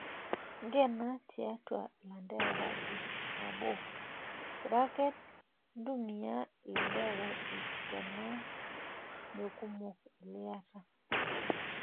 Nkena tiatwa ilanterera iip nabo(ntumia ilanterera iip tena mekumok liyata)